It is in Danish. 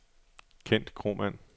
Kent Kromann